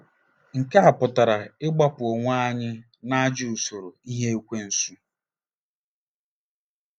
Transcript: Nke a pụtara ịgbapụ onwe anyị n'ajọ usoro ihe Ekwensu.